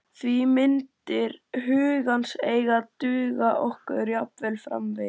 Því myndir hugans eiga að duga okkur jafnvel framvegis.